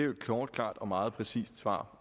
jo et kort klart og meget præcist svar